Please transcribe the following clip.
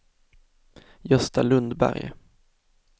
Gösta Lundberg